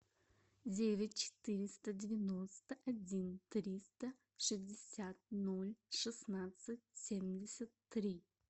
девять четыреста девяносто один триста шестьдесят ноль шестнадцать семьдесят три